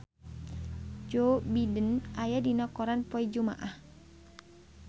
Joe Biden aya dina koran poe Jumaah